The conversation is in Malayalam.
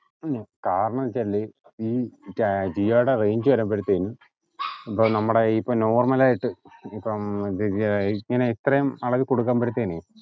ഹും കാരണംന്ന് വച്ചാല് ഈ ജി ജിയോടെ range വരുമ്പോഴത്തേക്കും ഇപ്പൊ നമ്മടെ ഇപ്പൊ normal ആയിട്ട് ഇപ്പോം ഏർ ഇത്രേം അളവിൽ കൊടുക്കുമ്പഴത്തേന്